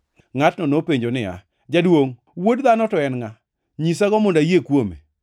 Ngʼatno nopenjo niya, “Jaduongʼ, Wuod Dhano to en ngʼa? Nyisago mondo ayie kuome.”